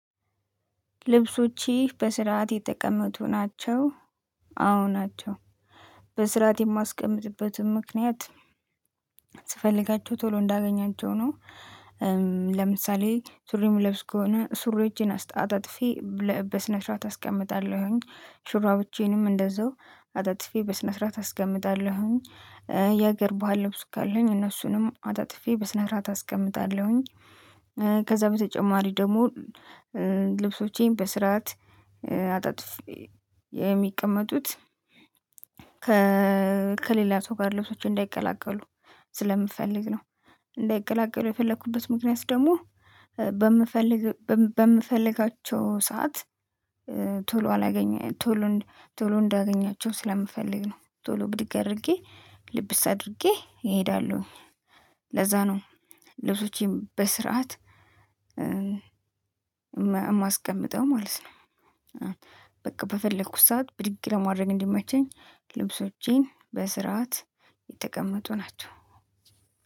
ልብሶችህ በስርዓት የተቀመጡ ናቸው? አዎ ናቸው። በስርዓት የማስቀምጥበትም ምክንያት ስፈልጋቸው ቶሎ እንዳገኛቸው ነው። ለምሳሌ ሱሪ ምለብስ ከሆነ ሱሪዎቼን አስጣ አጣጥፌ ለ በስነስርዓት አስቀምጣለሁኝ። ሹራቦቼንም እንደዛው አጣጥፌ በስነስርዓት አስቀምጣለሁኝ። የሀገር ባህል ልብስ ካለኝ እነሱንም አጣጥፌ በስነስርዓት አስቀምጣለሁኝ። ከዛ በተጨማሪ ደግሞ ልብሶቼን በስርዓት አጣጥፌ የሚቀመጡት ከሌላ ሰው ጋር ልብሶቼ እንዳይቀላቀሉ ስለምፈልግ ነው። እንዳይቀላቀሉ የፈለኩበት ምክንያት ደግሞ በምፈልግ በም በምፈልጋቸው ሰዓት ቶሎ አላገኘ ቶሎ ቶሎ እንዳገኛቸው ስለምፈልግ ነው። ቶሎ ብድግ አድርጌ ልብስ አድርጌ እሄዳለሁ። ለዛ ነው ልብሶቼን በስርዓት ማ የማስቀምጠው ማለት ነው። በቃ በፈለኩት ሰዓት ብድግ ለማድረግ እንዲመቸኝ ልብሶቼን በስርዓት የተቀመጡ ናቸው።